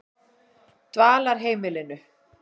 Dvalarheimilinu